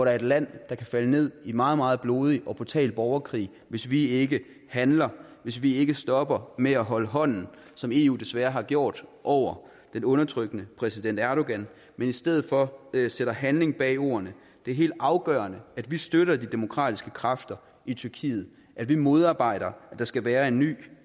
er et land der kan falde ned i meget meget blodig og brutal borgerkrig hvis vi ikke handler hvis vi ikke stopper med at holde hånden som eu desværre har gjort over den undertrykkende præsident erdogan men i stedet for sætter handling bag ordene det er helt afgørende at vi støtter de demokratiske kræfter i tyrkiet at vi modarbejder at der skal være en ny